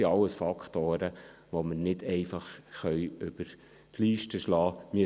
Dies alles sind Faktoren, die wir nicht einfach über einen Leisten schlagen können.